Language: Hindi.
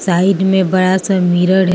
साइड में बड़ा सा मिरर है।